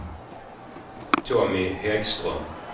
Tommy Häggström